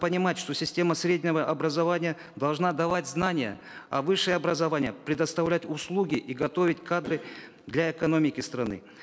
понимать что система среднего образования должна давать знания а высшее образование предоставлять услуги и готовить кадры для экономики страны